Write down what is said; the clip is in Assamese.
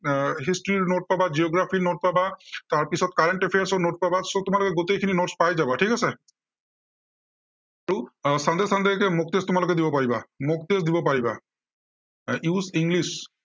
এৰ history ৰ note পাবা, geography ৰ note পাবা। তাৰপিছত current affairs ৰ note পাবা। so তোমালোকে গোটেইখিনি notes পাই যাবা, ঠিক আছে। ত sunday sunday এতিয়া mock test তোমালোকে দিব পাৰিবা। mock test দিব পাৰিবা। use English